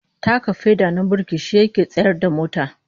Taka feda na burki shi yake tsayar da mota